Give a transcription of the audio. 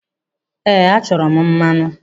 Ehe, achọrọ m mmanụ.